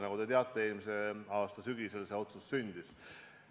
Nagu te teate, eelmise aasta sügisel see otsus sündis.